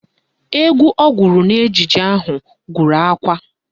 Egwu ọ gụrụ n'ejije ahụ gụrụ akwa